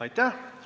Aitäh!